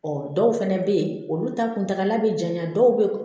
Ɔ dɔw fɛnɛ bɛ ye olu ta kuntala bɛ janya dɔw bɛ